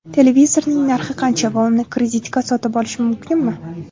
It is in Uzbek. Televizorning narxi qancha va uni kreditga sotib olish mumkinmi?